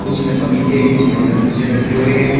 कुछ में पपीते कुछ में तरबूजे रखे हुए हैं।